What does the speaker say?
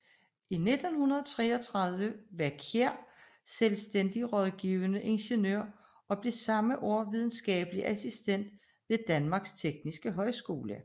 Fra 1933 var Kjær selvstændig rådgivende ingeniør og blev samme år videnskabelig assistent ved Danmarks Tekniske Højskole